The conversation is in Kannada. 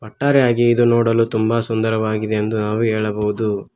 ಒಟ್ಟಾರೆಯಾಗಿ ಇದು ನೋಡಲು ತುಂಬಾ ಸುಂದರವಾಗಿದೆ ಎಂದು ನಾವು ಹೇಳಬಹುದು.